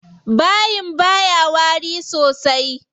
Bayin baya wari sosai.